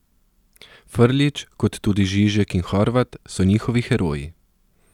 Frljić, kot tudi Žižek in Horvat, so njihovi heroji.